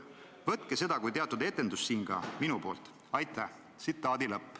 Võtke seda siin kui teatud etendust ka minu poolt!